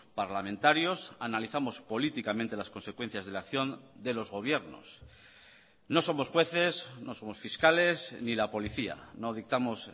parlamentarios analizamos políticamente las consecuencias de la acción de los gobiernos no somos jueces no somos fiscales ni la policía no dictamos